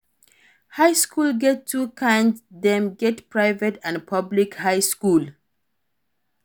High school get two kinds Dem get private and public high school